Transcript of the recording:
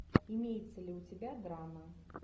имеется ли у тебя драма